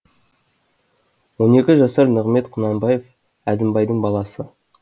он екі жасар нығымет құнанбаев әзімбайдың баласы